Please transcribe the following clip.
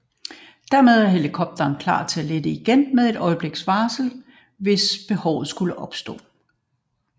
Dermed er helikopteren klar til at lette igen med et øjebliks varsel hvis behovet skulle opstå